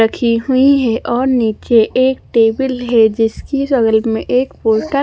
रखी हुई है और नीचे एक टेबल है जिसके साइड मे एक --